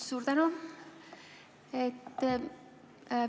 Suur tänu!